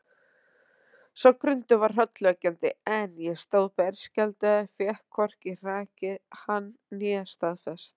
Sá grunur var hrollvekjandi, en ég stóð berskjaldaður, fékk hvorki hrakið hann né staðfest.